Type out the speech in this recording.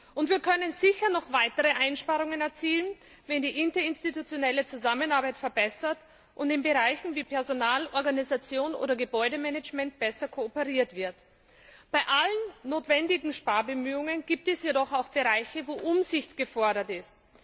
Und wir können sicher noch weitere Einsparungen erzielen, wenn die interinstitutionelle Zusammenarbeit verbessert und in Bereichen wie Personal, Organisation oder Gebäudemanagement besser kooperiert wird. Bei allen notwendigen Sparbemühungen gibt es jedoch auch Bereiche, in denen Umsicht gefordert ist.